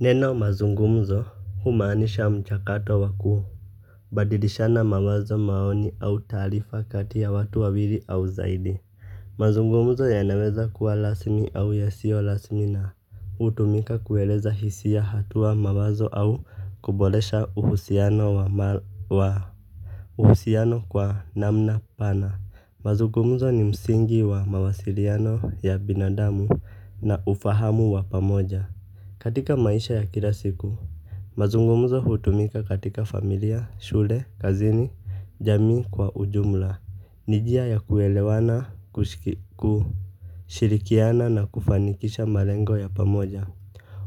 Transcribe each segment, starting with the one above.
Neno mazungumzo humaanisha mchakato wa kubadilishana mawazo maoni au taarifa kati ya watu wawili au zaidi mazungumzo yanaweza kuwa rasmi au yasio rasmi na hutumika kueleza hisi ya hatua mawazo au kuboresha uhusiano wa mahusiano kwa namna pana mazungumzo ni msingi wa mawasiliano ya binadamu na ufahamu wa pamoja katika maisha ya kila siku mazungumuzo hutumika katika familia shule kazini jamii kwa ujumla ni njia ya kuelewana kushirikiana na kufanikisha malengo ya pamoja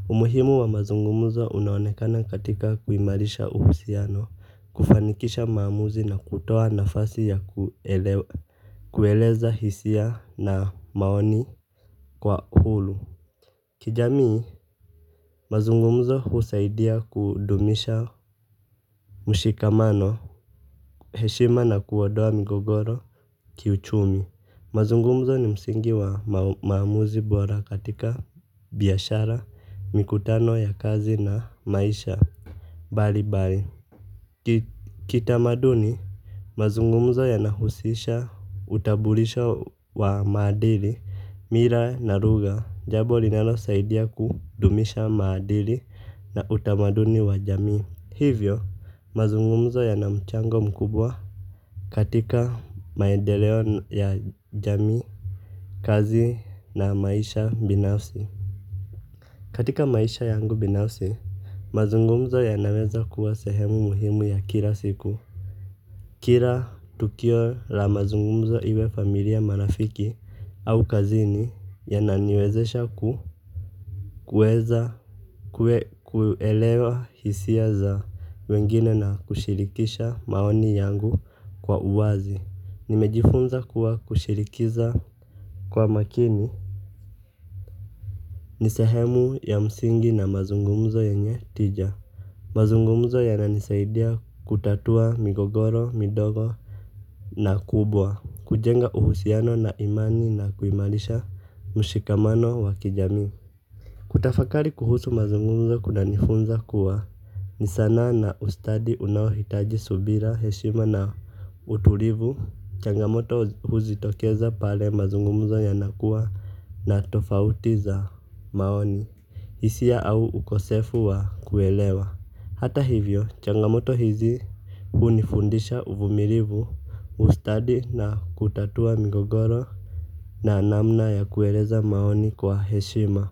umuhimu wa mazungumuzo unaonekana katika kuhimarisha uhusiano kufanikisha maamuzi na kutoa nafasi ya kueleza hisia na maoni kwa uhuru kijamii mazungumzo husaidia kudumisha mushikamano heshima na kuondoa migogoro kiuchumi mazungumzo ni msingi wa maamuzi bora katika biashara mikutano ya kazi na maisha bali kitamaduni mazungumzo yanahushisha utambulisho wa maadili mila na lugha jambo linalosaidia kudumisha maadili na utamaduni wa jamii hivyo mazungumzo yana mchango mkubwa katika maendeleo ya jamii kazi na maisha binafsi katika maisha yangu binafsi mazungumzo yanaweza kuwa sehemu muhimu ya kila siku kila tukio la mazungumzo iwe familia marafiki au kazini yananiwezesha kuweza kuelewa hisia za wengine na kushirikisha maoni yangu kwa uwazi nimejifunza kuwa kushirikiza kwa makini ni sehemu ya msingi na mazungumzo yenye tija mazungumzo yananisaidia kutatua migogoro midogo na kubwa kujenga uhusiano na imani na kuimarisha mshikamano wa kijamii kutafakari kuhusu mazungumzo kunanifunza kuwa ni sanaa na ustadi unaohitaji subira heshima na utulivu changamoto huzitokeza pale mazungumzo yanakuwa na tofauti za maoni hisia au ukosefu wa kuelewa hata hivyo changamoto hizi hunifundisha uvumilivu ustadi na kutatua migogoro na namna ya kueleza maoni kwa heshima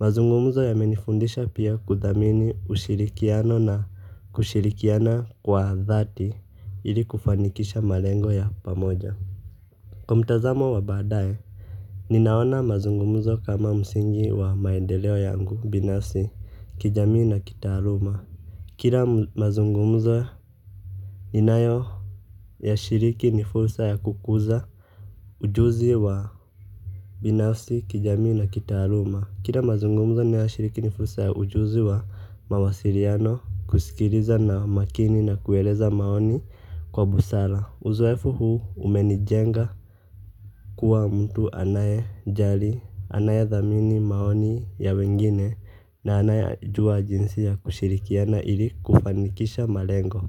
mazungumuzo yamenifundisha pia kudhamini ushirikiano na kushirikiana kwa dhati ili kufanikisha malengo ya pamoja kwa mtazamo wa baadaye ninaona mazungumuzo kama msingi wa maendeleo yangu binafsi kijamii na kitaaluma kila mazungumuzo ninayo yashiriki ni fursa ya kukuza ujuzi wa binafsi kijamii na kitaaluma kila mazungumzo ninayoshiriki ni fursa ya ujuzi wa mawasiliano kusikiliza na makini na kueleza maoni kwa busara uzoefu huu umenijenga kuwa mtu anayejali anayedhamini maoni ya wengine na anayejua jinsi ya kushirikiana ili kufanikisha malengo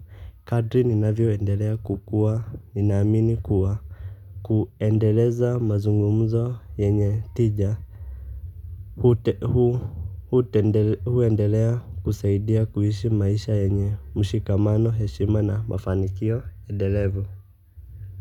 kadri ninavyoendelea kukua ninaamini kuwa kuendeleza mazungumzo yenye tija huendelea kusaidia kuishi maisha yenye mushikamano heshima na mafanikio endelevu.